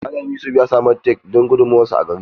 Mallam yusuf ya samu take don gudunmawar sa a gari.